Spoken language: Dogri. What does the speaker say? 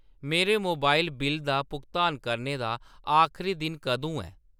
मेरे मोबाइल बिल्ल दा भुगतान करने दा आखरी दिन कदूं ऐ ?